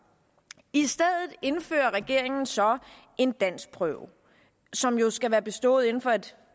i stedet indfører regeringen så en danskprøve som jo skal være bestået inden for et